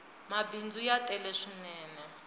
mabindzu ya tele swinene